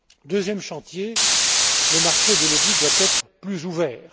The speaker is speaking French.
Deuxième chantier le marché de l'audit doit être plus ouvert.